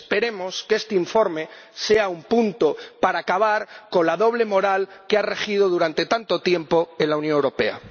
Esperemos que este informe sea un punto para acabar con la doble moral que ha regido durante tanto tiempo en la Unión Europea.